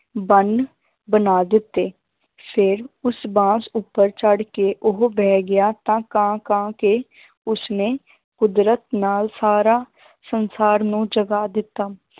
ਬੰਨ ਬਣਾ ਦਿੱਤੇ ਫਿਰ ਉਸ ਬਾਂਸ ਉੱਪਰ ਚੜ੍ਹ ਕੇ ਉਹ ਬਹਿ ਗਿਆ ਤਾਂ ਕਾਂ ਕਾਂ ਕੇ ਉਸਨੇ ਕੁਦਰਤ ਨਾਲ ਸਾਰਾ ਸੰਸਾਰ ਨੂੰ ਜਗਾ ਦਿੱਤਾ